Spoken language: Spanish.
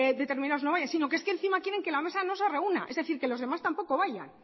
determinados no vayan sino que es que encima quieren que la mesa no se reúna es decir que los demás tampoco vayan